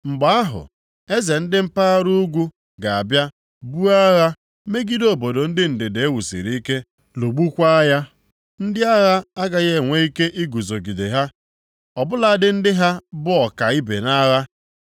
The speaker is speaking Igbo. Mgbe ahụ, eze ndị mpaghara ugwu ga-abịa buo agha megide obodo ndị ndịda e wusiri ike, lụgbukwaa ya. Ndị agha agaghị enwe ike iguzogide ha ọ bụladị ndị ha bụ ọka ibe nʼagha.